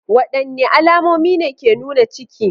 Wadanne alamomi ne ke nuna ciki?